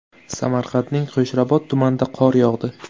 Samarqandning Qo‘shrabot tumanida qor yog‘di .